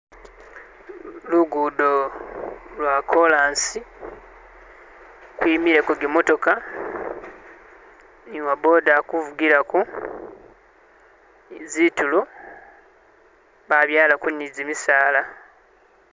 Luguudo lwa koraasi kwimire zimotoka, nuwaboda alikuvugirako, zinturo babyalako ni gyimisala